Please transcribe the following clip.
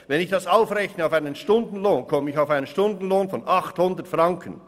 Wenn ich das auf einen Stundenlohn aufrechne, erhalte ich einen Stundenansatz von 800 Franken.